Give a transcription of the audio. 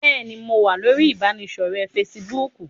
Bẹ́ẹ̀ni, mo wá lórí ibanidọ̀rẹ́ "Fésííbùùkù".